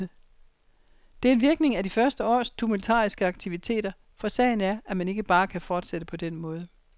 Det er en virkning af de første års tumultariske aktiviteter, for sagen er, at man ikke bare kan fortsætte på den måde.